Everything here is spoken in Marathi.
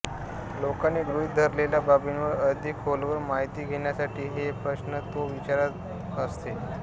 लोकांनी गृहीत धरलेल्या बाबींवर अधिक खोलवर माहिती घेण्यासाठी हे प्रश्न तो विचारत असे